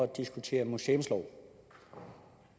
diskutere museumsloven